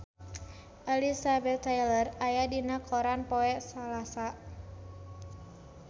Elizabeth Taylor aya dina koran poe Salasa